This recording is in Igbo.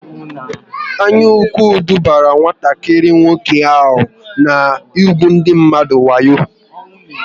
Anyaukwu dubara nwatakịrị nwoke ahụ n'ugwu ndị mmadụ wayo